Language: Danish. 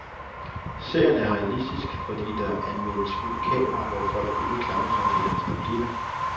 Serien er realistisk, fordi der anvendes skjult kamera, hvor folk ikke klamrer sig til deres replikker.